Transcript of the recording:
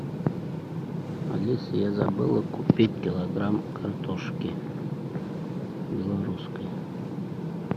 алиса я забыла купить килограмм картошки белорусской